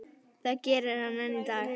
Það gerir hann enn í dag.